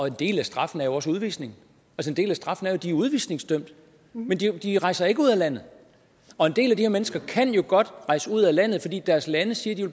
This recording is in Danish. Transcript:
en del af straffen er jo også udvisning en del af straffen er at de udvisningsdømt men de de rejser ikke ud af landet og en del af de her mennesker kan jo godt rejse ud af landet men deres lande siger at